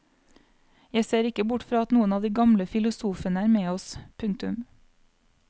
Jeg ser ikke bort fra at noen av de gamle filosofene er med oss. punktum